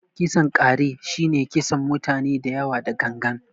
kisan ƙare shi ne kisan mutane dayawa da gangan.